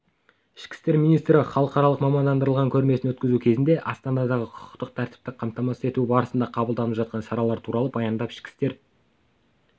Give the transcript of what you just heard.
ішкі істер министрі халықаралық мамандандырылған көрмесін өткізу кезінде астанадағы құқықтық тәртіпті қамтамасыз ету барысында қабылданып жатқан шаралар туралы баяндап ішкі істер